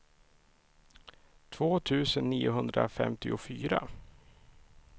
två tusen niohundrafemtiofyra